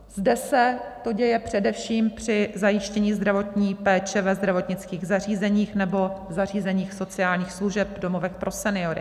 Zde se to děje především při zajištění zdravotní péče ve zdravotnických zařízeních nebo zařízeních sociálních služeb, domovech pro seniory.